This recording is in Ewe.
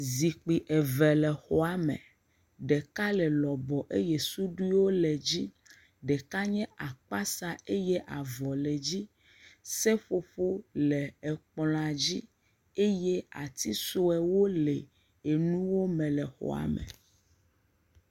Zikpui eve le xɔame, ɖeka le lɔbɔ eye suduiwo le dzi, ɖeka nye akpasa eye avɔ le dzi, seƒoƒo le ekplɔ̃a dzi, eye ati sɔewo le enuwo me le xɔame.